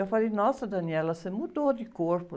Eu falei, nossa, você mudou de corpo.